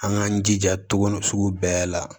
An k'an jija tuguni sugu bɛɛ la